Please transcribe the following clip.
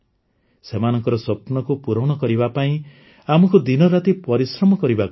ସେମାନଙ୍କ ସ୍ୱପ୍ନକୁ ପୁରା କରିବା ପାଇଁ ଆମକୁ ଦିନରାତି ପରିଶ୍ରମ କରିବାକୁ ପଡ଼ିବ